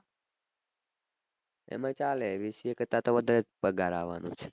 એમાં ચાલે bca કરતા તો વધારે જ પગાર આવાનો છે